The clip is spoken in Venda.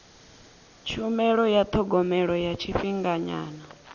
tshumelo ya thogomelo ya tshifhinganyana